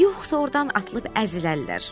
Yoxsa ordan atılıb əzilərlər.